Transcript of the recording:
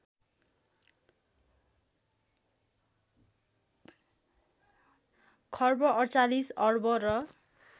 खर्ब ४८ अर्ब र